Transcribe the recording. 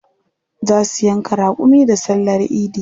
Za su yanka raƙumi da sallar idi.